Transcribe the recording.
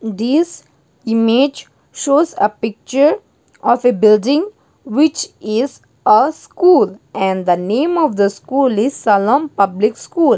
this image shows a picture of a building which is a school and the name of the school is shalom public school.